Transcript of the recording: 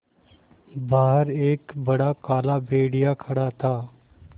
बाहर एक बड़ा काला भेड़िया खड़ा था